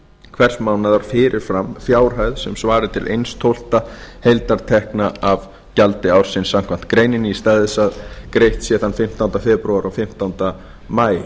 hvers mánaðar fyrir fram fjárhæð sem svari til einn tólfta heildartekna af gjaldi ársins samkvæmt greininni í stað þess að greitt sé þann fimmtánda febrúar og fimmtánda maí